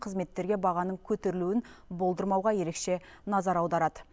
кызметтерге бағаның көтерілуін болдырмауға ерекше назар аударады